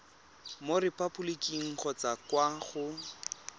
mo repaboliking kgotsa kwa go